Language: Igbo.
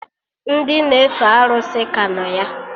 Ndị na-efe arụsị ka nọ ya